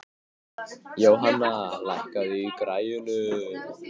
Jóhanna, lækkaðu í græjunum.